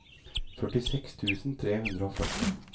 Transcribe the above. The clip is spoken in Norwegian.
førtiseks tusen tre hundre og førti